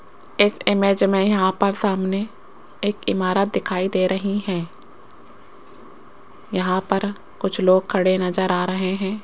इस इमेज में यहां पर सामने एक इमारत दिखाई दे रही है यहां पर कुछ लोग खड़े नजर आ रहे हैं।